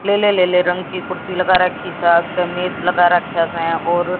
लेले लेले रंग की कुर्सी लगा रखी है। कमिज लगा रखा है और--